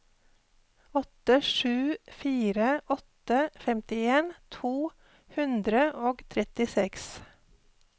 åtte sju fire åtte femtien to hundre og trettiseks